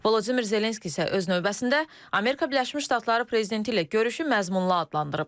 Volodimir Zelenski isə öz növbəsində Amerika Birləşmiş Ştatları prezidenti ilə görüşü məzmunlu adlandırıb.